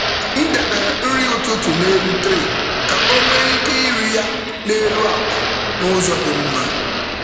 M debere nri ụtụtụ n’elu tray ka ọ nwee ike iri ya n’elu akwa n’ụzọ dị mma.